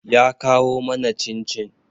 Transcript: Ya kawo mana cin-cin.